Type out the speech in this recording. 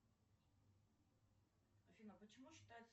афина почему считается